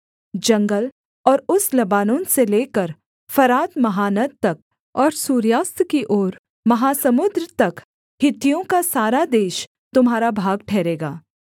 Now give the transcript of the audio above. जंगल और उस लबानोन से लेकर फरात महानद तक और सूर्यास्त की ओर महासमुद्र तक हित्तियों का सारा देश तुम्हारा भाग ठहरेगा